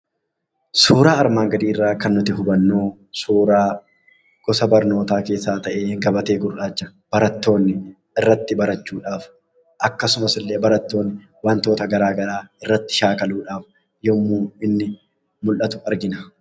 Suuraa armaan gadii irraa kan nuti hubannu suuraa gosa barnootaa keessaa ta'ee, gabatee gurraacha barattoonni irratti barachuudhaaf akkasumas illee barattoonni wantoota garaagaraa irratti shaakaluudhaaf yemmuu inni mul'atu argina.